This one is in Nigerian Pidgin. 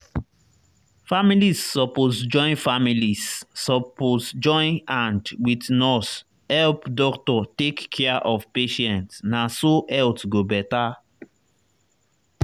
families suppose join families suppose join hand wit nurse help doctor take care of patient na so health go better.